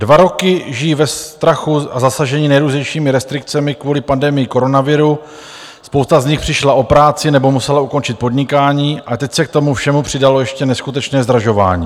Dva roky žijí ve strachu a zasaženi nejrůznějšími restrikcemi kvůli pandemii koronaviru, spousta z nich přišla o práci nebo musela ukončit podnikání a teď se k tomu všemu přidalo ještě neskutečné zdražování.